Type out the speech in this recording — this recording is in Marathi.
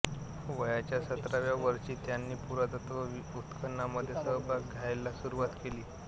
वयाच्या सतराव्या वर्षी त्यांनी पुरातत्त्वीय उत्खननांमध्ये सहभाग घ्यायला सुरुवात केली